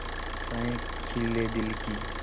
आशाएं खिले दिल की